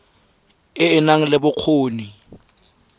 e e nang le bokgoni